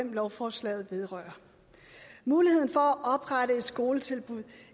lovforslaget vedrører muligheden for at oprette et skoletilbud